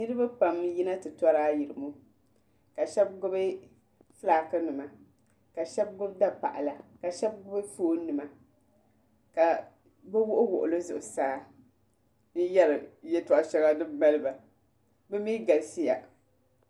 Niriba pam n yina ti tɔri ayirimo ka shɛba gbubi filaaki nima ka shɛba gbubi dapaɣala ka shɛba gbubi fooni nima ka bi wuɣi wuɣi li zuɣusaa n yari yɛltɔɣa shɛŋa din maliba bi mi galisi ya.